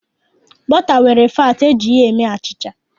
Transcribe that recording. Bọta nwere faatị, e ji ya eme achịcha.